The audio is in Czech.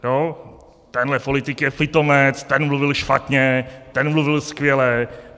Tenhle politik je pitomec, ten mluvil špatně, ten mluvil skvěle.